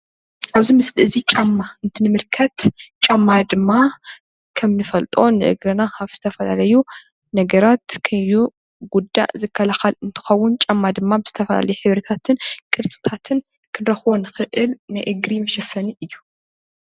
ኣብዚ ምስሊ እዚ ጫማ እንትንምልከት ጫማ ድማ ከም ንፈልጦ ንእግርና ካብ ዝተፈላለዩ ነገራት ከዩጉዳ ዝከላኸል እንትኸውን፤ ጫማ ድማ ብዝተዝፈላለየ ሕብርታትን ቅርፅታትን ክንረኽቦ ንኽእል ናይ እግሪ መሸፈኒ እዩ።